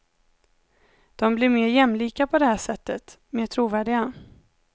De blir mer jämlika på det här sättet, mer trovärdiga.